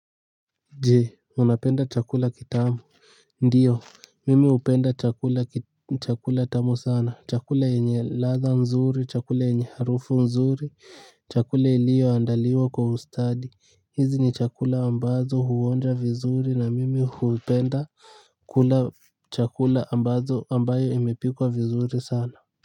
Je, unapenda chakula kitamu? Ndio, mimi hupenda chakula tamu sana. Chakula yenye ladha nzuri, chakula yenye harufu nzuri, chakula iliyoandaliwa kwa ustadi. Hizi ni chakula ambazo huonja vizuri na mimi hupenda kula chakula ambazo ambayo imepikwa vizuri sana.